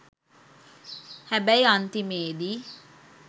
හැබැයි අන්තිමේදි